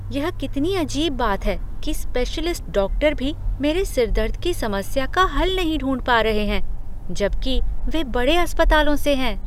यह कितनी अजीब बात है कि स्पेशलिस्ट डॉक्टर भी मेरे सिरदर्द की समस्या का हल नहीं ढूंढ पा रहे हैं, जबकि वे बड़े अस्पतालों से हैं।